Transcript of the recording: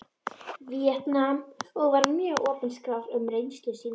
Víetnam og var mjög opinskár um reynslu sína.